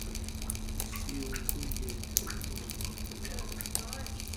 kò sí ohun tó yẹ kó máa dà ọ́ láàmú